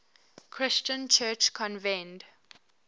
christian church convened